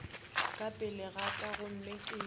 pele ga ka gomme ke